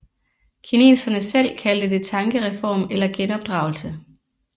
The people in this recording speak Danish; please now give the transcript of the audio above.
Kineserne selv kaldte det tankereform eller genopdragelse